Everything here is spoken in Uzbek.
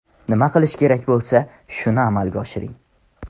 Nima qilish kerak bo‘lsa, shuni amalga oshiring.